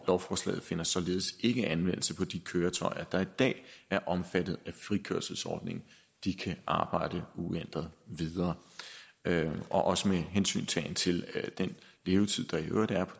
lovforslaget finder således ikke anvendelse på de køretøjer der i dag er omfattet af frikørselsordningen de kan arbejde uændret videre også med hensyntagen til den levetid der i øvrigt er